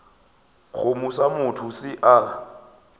kgomo sa motho se a